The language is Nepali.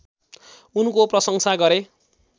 उनको प्रशंसा गरे